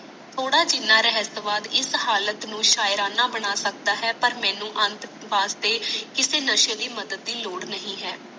ਥੋਰ ਜਿਹਿਨਾ ਰਾਹਸਤਵਾਦ ਇਸ ਹਾਲਤ ਨੂੰ ਸ਼ਾਇਰਾਨਾ ਬਣਾ ਸਕਦਾ ਪਰ ਮੈਨੂੰ ਅੰਤ ਵਾਸਤੇ ਕਿਸੇ ਨਾਸੇ ਦੀ ਮਦਤ ਲੋੜ ਨਹੀਂ ਹੈ